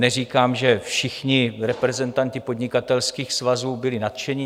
Neříkám, že všichni reprezentanti podnikatelských svazů byli nadšeni.